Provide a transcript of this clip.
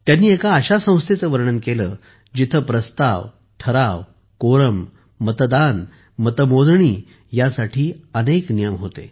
त्यांनी एका अशा संस्थेचे वर्णन केले जिथे प्रस्ताव ठराव कोरम मतदान आणि मतमोजणी यासाठी अनेक नियम होते